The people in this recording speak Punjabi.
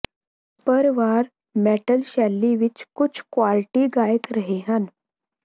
ਪਰ ਵਾਲ ਮੈਟਲ ਸ਼ੈਲੀ ਵਿਚ ਕੁੱਝ ਕੁਆਲਿਟੀ ਗਾਇਕ ਰਹੇ ਹਨ